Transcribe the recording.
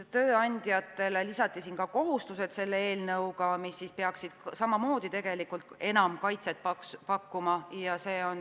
Tööandjatele lisati ka kohustused, mis peaksid samamoodi enam kaitset pakkuma.